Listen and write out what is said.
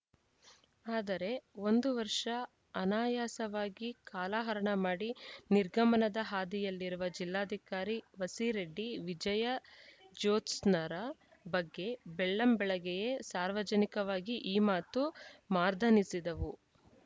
ಆದರೆ ಒಂದು ವರ್ಷ ಅನಾಯಾಸವಾಗಿ ಕಾಲಹರಣ ಮಾಡಿ ನಿರ್ಗಮನದ ಹಾದಿಯಲ್ಲಿರುವ ಜಿಲ್ಲಾಧಿಕಾರಿ ವಸೀರೆಡ್ಡಿ ವಿಜಯ ಜೋತ್ಸ್ ನರ ಬಗ್ಗೆ ಬೆಳ್ಳಂ ಬೆಳಗ್ಗೆಯೇ ಸಾರ್ವಜನಿಕವಾಗಿ ಈ ಮಾತು ಮಾರ್ದನಿಸಿದವು